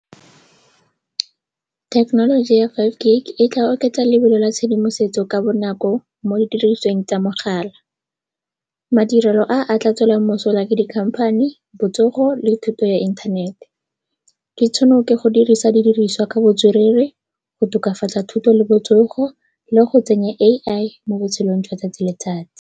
Thekenoloji ya five G e tla oketsa lebelo la tshedimosetso ka bonako mo didirisweng tsa mogala. Madirelo a a tla tswelwang mosola ke di-company, botsogo le thuto ya inthanete. Di tshwanelwa ke go dirisa didiriswa ka botswerere go tokafatsa thuto le botsogo le go tsenya AI mo botshelong jwa tsatsi le tsatsi.